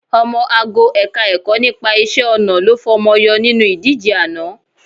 Ọmọ ago Ẹ̀ka-ẹ̀kọ́ nípa iṣẹ́-ọnà ló fọmọ yọ nínú ìdíje àná